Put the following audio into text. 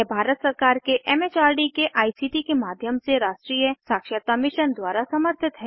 यह भारत सरकार के एम एच आर डी के आई सी टी के माध्यम से राष्ट्रीय साक्षरता मिशन द्वारा समर्थित है